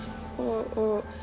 og